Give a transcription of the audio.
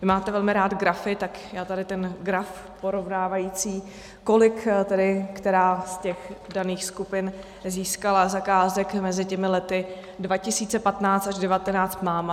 Vy máte velmi rád grafy, tak já tady ten graf porovnávající, kolik tedy která z těch daných skupin získala zakázek mezi těmi lety 2015 až 2019, mám.